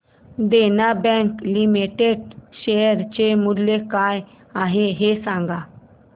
देना bank limited share चे मूल्य काय आहे हे सांगा